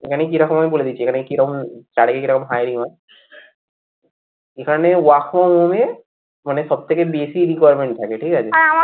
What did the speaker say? এখানে কিরকম হয় বলে দিচ্ছি এখানে কিরকম হারে hiring হয় এখানে work from home এ, মানে সবথেকে বেশি requirement থাকে ঠিক আছে?